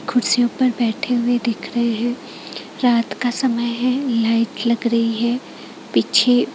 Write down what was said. कुर्सियों पर बैठे हुए दिख रहे हैं रात का समय है लाइट लग रही है पीछे--